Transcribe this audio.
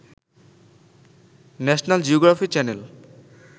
national geography channel